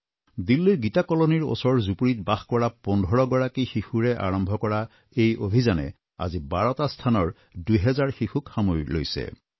দিল্লীৰ গীতা কলনীৰ ওচৰৰ জুপুৰীত বাস কৰা পোন্ধৰ গৰাকী শিশুৰে আৰম্ভ কৰা এই অভিযানে আজি বাৰটা স্থানৰ দুহেজাৰ শিশুক সামৰি লৈছে